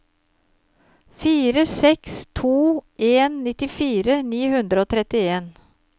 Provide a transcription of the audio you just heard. fire seks to en nittifire ni hundre og trettien